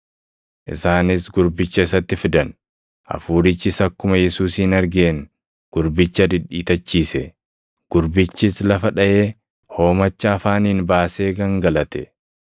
Isaanis gurbicha isatti fidan. Hafuurichis akkuma Yesuusin argeen gurbicha dhidhiitachiise; gurbichis lafa dhaʼee hoomacha afaaniin baasee gangalate.